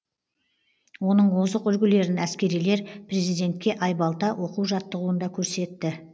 оның озық үлгілерін әскерилер президентке айбалта оқу жаттығуында көрсетті